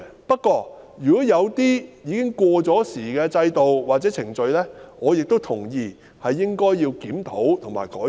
不過，如果有一些制度和程序已過時，我亦同意應予檢討及改善。